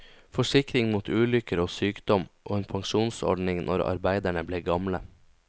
Forsikring mot ulykker og sykdom og en pensjonsordning når arbeiderne ble gamle.